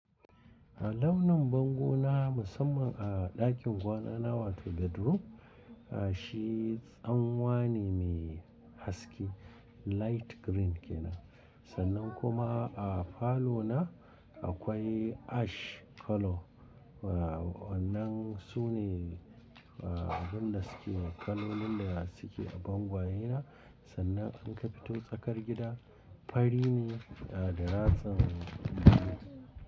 Launin bangona musamman a ɗakin kwana na wato bedroom, shi tsanwane mai haske light green ke nan. Sannan kuma a falo na akwai ash color. Wa wannan su ne wa abin da suke kalolin da suke a bangayena. Sannan in ka fito tsakar gida fari ne da ratsin blue.